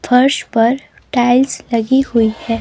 फर्श पर टाइल्स लगी हुई है.